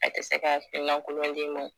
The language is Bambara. A tɛ se ka hakilina kolon d'i ma